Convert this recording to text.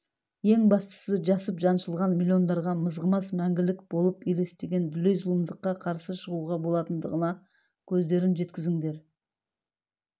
ең бастысы жасып жаншылған миллиондарға мызғымас мәңгілік болып елестеген дүлей зұлымдыққа қарсы шығуға болатындығына көздерін жеткіздіңдер